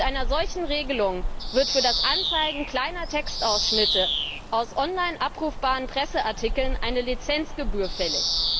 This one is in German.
Mit einer solchen Regelung wird für das Anzeigen kleiner Textausschnitte aus online abrufbaren Presseartikeln eine Lizenzgebühr fällig.